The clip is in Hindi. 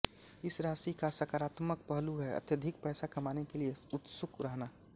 इस राशि का साकारात्मक पहलू है अत्यधिक पैसा कमाने के लिए उत्सुक रहना